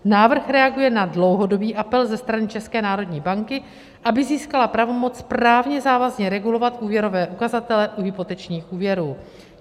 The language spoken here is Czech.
Návrh reaguje na dlouhodobý apel ze strany České národní banky, aby získala pravomoc právně závazně regulovat úvěrové ukazatele u hypotečních úvěrů.